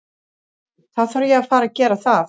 Þá þarf ég að fara gera það.